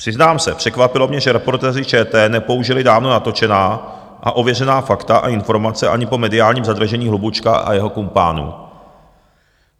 Přiznám se, překvapilo mě, že Reportéři ČT nepoužili dávno natočená a ověřená fakta a informace ani po mediálním zadržení Hlubučka a jeho kumpánů.